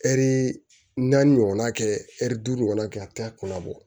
Ɛri naani ɲɔgɔnna kɛ ɛri duuru ɲɔgɔn kɛ a t'a kɔnɔ bɔ